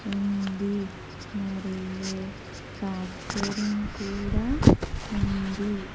ఉంది మరియు ఫ్యాక్చరింగ్ కూడా ఉంది.